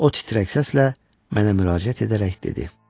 O titrək səslə mənə müraciət edərək dedi.